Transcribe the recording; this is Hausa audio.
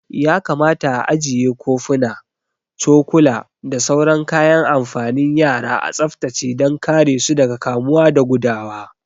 Ya kamata a ajiye kofuna, cokula da sauran kayan amfanin yara a tsaftace dan kare su daga kamuwa da gudawa